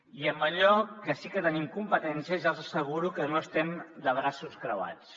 i en allò que sí que hi tenim competències ja els asseguro que no estem de braços creuats